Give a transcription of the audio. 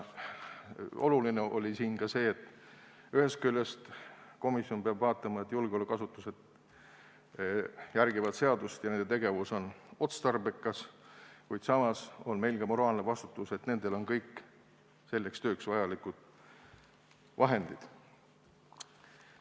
Oluline oli siin ka see: ühest küljest komisjon peab vaatama, et julgeolekuasutused järgivad seadust ja nende tegevus on otstarbekas, kuid samas on meil ka moraalne vastutus, et nendel on kõik selleks tööks vajalikud vahendid.